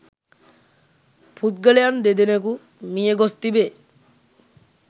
පුද්ගලයන් දෙදෙනෙකු මිය ගොස් තිබේ